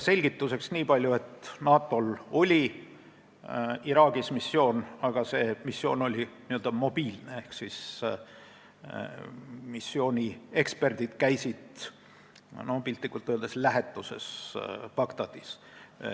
Selgituseks nii palju, et NATO-l oli Iraagis missioon ka varem, aga see oli n-ö mobiilne ehk missiooni eksperdid käisid piltlikult öeldes Bagdadis lähetuses.